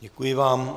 Děkuji vám.